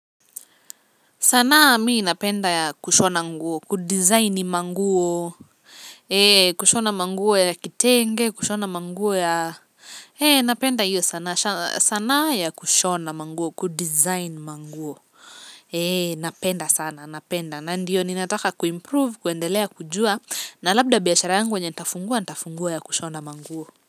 Sanaa mii napenda ya kushona nguo, kudizaini manguo, kushona manguo ya kitenge, kushona manguo ya napenda hiyo sanaa ya kushona manguo, kudizaini manguo, napenda sana, napenda, na ndiyo ni nataka kuimprove, kuendelea, kujua, na labda biashara yangu yenye nitafungua, nitafungua ya kushona manguo.